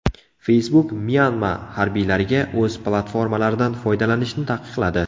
Facebook Myanma harbiylariga o‘z platformalaridan foydalanishni taqiqladi.